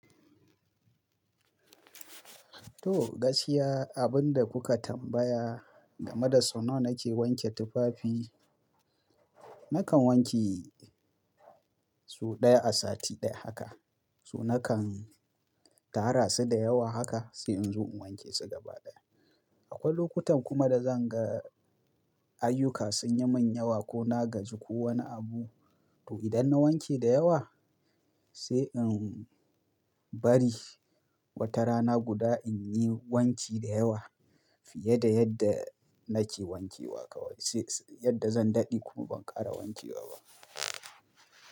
To gaskiya abinda kuka tambaya game da sau nawa nake wanke tufafi, nakan wanke sau ɗaya a sati ɗaya haka. So nakan tara su da yawa haka sai in zo in wanke su gaba ɗaya. Akwai lokutan kuma da zan ga ayyuka sun yi min yawa ko na gaji ko wani abu to idan na wanke da yawa sai in bari wata rana guda in yi wanki da yawa fiye da yadda nake wanke wa kawai. Sai yadda zan daɗe kuma ban ƙara wanke wa ba.